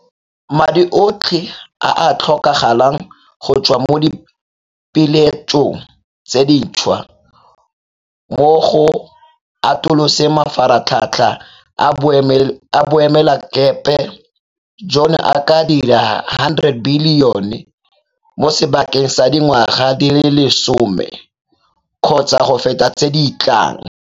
Madi otlhe a a tla tlhokagalang go tswa mo dipeeletsong tse dintšhwa mo go atoloseng mafaratlhatlha a boemelakepe jono a ka dira R100 bilione mo sebakeng sa dingwaga di le lesome kgotsa go feta tse di tlang.